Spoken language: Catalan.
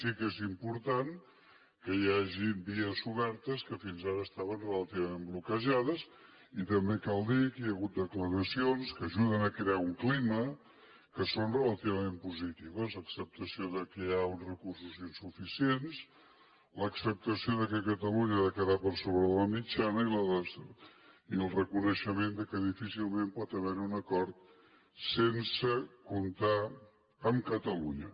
sí que és important que hi hagin vies obertes que fins ara estaven relativament bloquejades i també cal dir que hi ha hagut declaracions que ajuden a crear un clima que són relativament positives acceptació que hi ha uns recursos insuficients l’acceptació que catalunya ha de quedar per sobre la mitjana i el reconeixement que difícilment pot haver hi un acord sense comptar amb catalunya